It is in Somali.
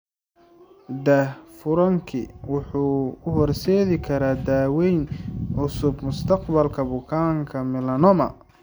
Daahfurkaani wuxuu u horseedi karaa daaweyn cusub mustaqbalka bukaanka melanoma.